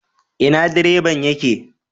Ina direban ya ke?